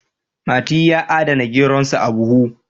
mati ya adana geronsa a buhu